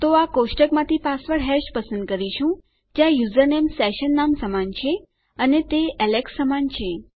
તો આપણે આ કોષ્ટકમાંથી પાસવર્ડ હેશ પસંદ કરીશું જ્યાં યુઝરનેમ સેશન નામ સમાન છે અને તે એલેક્સ સમાન છે